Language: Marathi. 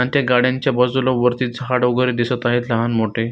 अन त्या गाड्यांच्या बाजुला वरती झाड वगैरे दिसत आहे लहान मोठे.